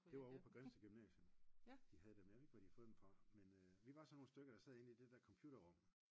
Det var ovre på Grindsted gymnasium de havde dem jeg fik ikke hvor de havde fået dem fra men øh vi var sådan nogle stykker der sad inde i det der computerrum